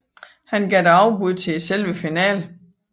Han gav dog afbud til selve finalen